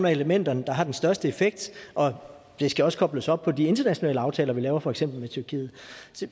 af elementerne der har den største effekt og det skal også kobles op på de internationale aftaler vi laver for eksempel med tyrkiet